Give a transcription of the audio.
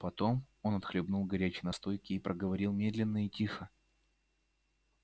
потом он отхлебнул горячей настойки и проговорил медленно и тихо